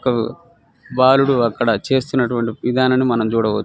ఒక బాలుడు అక్కడ చేస్తున్నటు వంటి విధానాన్ని మనం చూడవచ్చు .